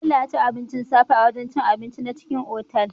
Bello yaci abincin safe a wajan cin abinci na cikin otal